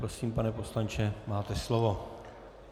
Prosím, pane poslanče, máte slovo.